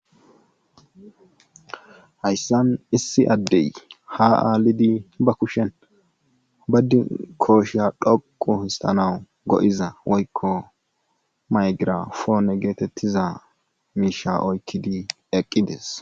Hayssan issi addey ha aalidi ba kushen badi kooshiya dhoqu histanawu go7iza woykko maygirafoone geetettiza miisha oykkidi eqqides